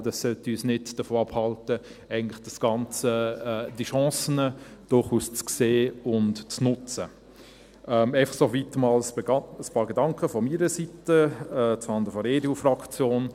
Aber das sollte uns eigentlich nicht davon abhalten, diese Chancen durchaus zu sehen und zu nutzen – soweit einfach einmal ein paar Gedanken von meiner Seite von der EDUFraktion.